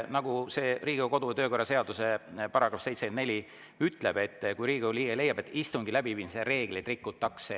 Nagu Riigikogu kodu- ja töökorra seaduse § 74 ütleb: "Kui Riigikogu liige leiab, et istungi läbiviimise reegleid rikutakse [...